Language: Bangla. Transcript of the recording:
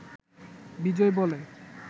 বিজয় বলে